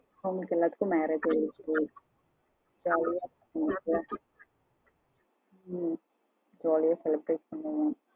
அவங்களுக்கு எல்லாத்துக்கும் marriage ஆயிடுச்சு ஹம் jolly அ celebrite பண்ணுவோம்.